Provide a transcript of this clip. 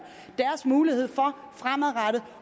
muligheden for fremadrettet